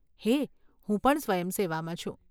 હે, હું પણ સ્વયંસેવામાં છું.